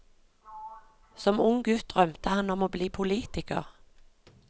Som ung gutt drømte han om å bli politiker.